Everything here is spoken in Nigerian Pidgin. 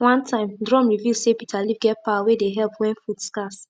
one time drum reveal say bitterleaf get power wey dey help when food scarce